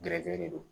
Gɛrɛgɛrɛ de don